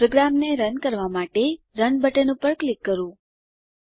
પ્રોગ્રામને રન કરવાં માટે રન બટન પર ક્લિક કરીએ